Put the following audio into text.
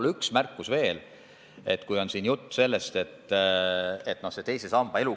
Teen ühe märkuse võib-olla veel.